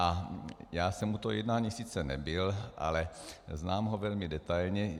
A já jsem u toho jednání sice nebyl, ale znám ho velmi detailně.